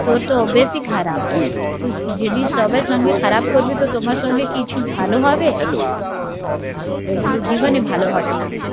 তোর তো অভ্যেসই খারপ তুই যদি সবার সাথে খারাপ করবি তো তোমার সাথে কি কিছু ভালো হবে? ও বলে জীবনে ভালোহবে না